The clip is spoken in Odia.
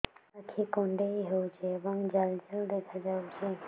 ଆଖି କୁଣ୍ଡେଇ ହେଉଛି ଏବଂ ଜାଲ ଜାଲ ଦେଖାଯାଉଛି